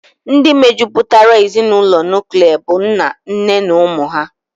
Ndị mejupụtara ezinụlọ nuklia bụ nna, nne na ụmụ ha